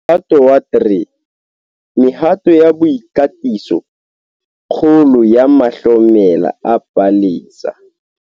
MOHATO WA 3. MEHATO YA BOIKATISO - KGOLO YA MAHLOMELA A PALESA